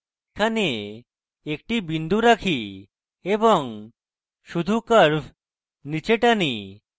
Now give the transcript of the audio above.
তাই আমি এখানে একটি বিন্দু রাখি এবং শুধু curve নীচে টানি